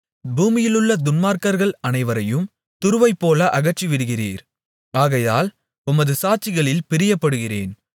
பூமியிலுள்ள துன்மார்க்கர்கள் அனைவரையும் துருவைப்போல அகற்றிவிடுகிறீர் ஆகையால் உமது சாட்சிகளில் பிரியப்படுகிறேன்